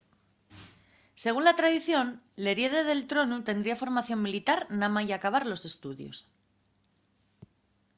según la tradición l'heriede del tronu tendría formación militar namái acabar los estudios